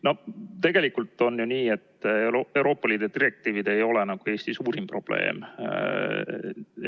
No tegelikult on ju nii, et Euroopa Liidu direktiivid ei ole Eesti suurim probleem.